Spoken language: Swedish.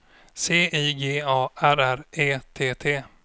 C I G A R R E T T